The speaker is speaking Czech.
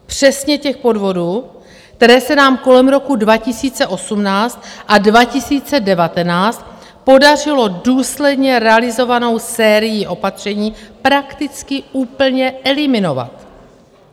Přesně těch podvodů, které se nám kolem roku 2018 a 2019 podařilo důsledně realizovanou sérií opatření prakticky úplně eliminovat.